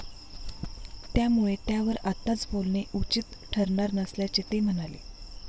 त्यामुळे त्यावर आत्ताच बोलणे उचित ठरणार नसल्याचे ते म्हणाले.